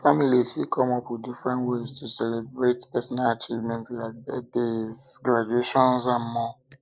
families fit come up with different ways ways to celebrate personal achievement like birthdays graduations and more